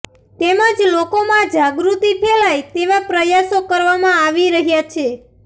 તેમજ લોકોમાં જાગૃતિ ફેલાય તેવા પ્રયાસો કરવામાં આવી રહ્યાં છે